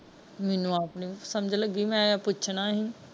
ਮੈਨੂੰ ਆਪ ਨਹੀਂ ਸਮਝ ਲੱਗੀ ਮੈਂ ਪੁੱਛਣ ਸੀ।